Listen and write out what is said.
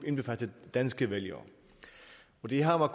indbefattet danske vælgere det har